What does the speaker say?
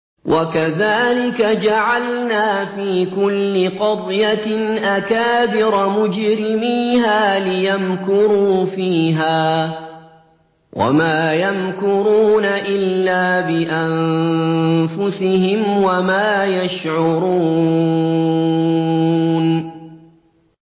وَكَذَٰلِكَ جَعَلْنَا فِي كُلِّ قَرْيَةٍ أَكَابِرَ مُجْرِمِيهَا لِيَمْكُرُوا فِيهَا ۖ وَمَا يَمْكُرُونَ إِلَّا بِأَنفُسِهِمْ وَمَا يَشْعُرُونَ